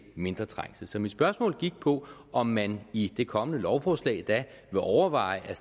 mindre trængsel så mit spørgsmål gik på om man i det kommende lovforslag vil overveje at